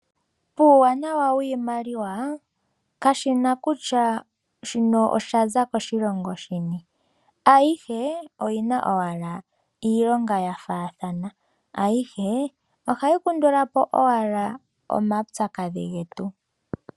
Puwanawa wiimaliwa kashi na kutya shino oshaza koshilongo shini ayihe oyina owala iilonga yafaathana, ayihe ohayi kandulapo owala omaupyakadhi getu.